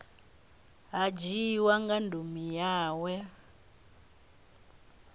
ha dzhiiwa nga ndumi yawe